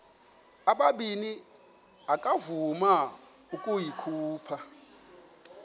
ubabini akavuma ukuyikhupha